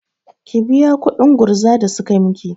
Ki biya kuɗin gurza da suka miki!